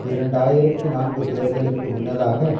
இரண்டாயிரத்தி நான்கு தேர்தலுக்கு முன்னதாக